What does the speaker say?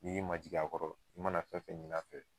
I k'i majigi a kɔrɔ i mana fɛn fɛn ɲin'a fɛ